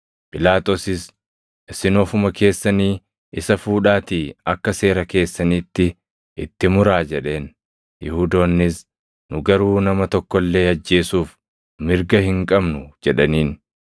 Phiilaaxoosis, “Isin ofuma keessanii isa fuudhaatii akka seera keessaniitti itti muraa” jedheen. Yihuudoonnis, “Nu garuu nama tokko illee ajjeesuuf mirga hin qabnu” jedhaniin.